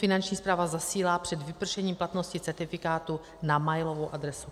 Finanční správa zasílá před vypršením platnosti certifikátu na mailovou adresu.